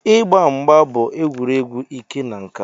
Ịgba mgba bụ egwuregwu ike na nka.